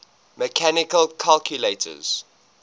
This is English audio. mechanical calculators